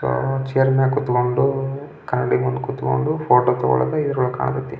So chair ಮ್ಯಾಗ ಕೂತುಕೊಂಡು ಕನ್ನಡಿ ಮುಂದು ಕೂತುಕೊಂಡು ಫಾಟ್ ತಗೋಳೋದು ಇದ್ರೊಳಗೆ ಕಾಣತೆತ.